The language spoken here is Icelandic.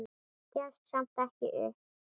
Gefst samt ekki upp.